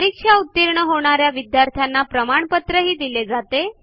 परीक्षा उतीर्ण होणा या विद्यार्थ्यांना प्रमाणपत्रही दिले जाते